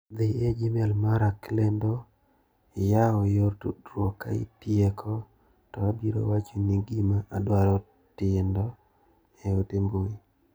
Dhi e gmail mara klendo iyaw yor tudruok ka itieko to abiro wachoni gima aadwaro tindo e ote mbui.